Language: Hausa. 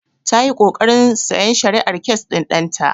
Ta yi ƙoƙarin sayan shari'ar kes ɗin ɗan ta.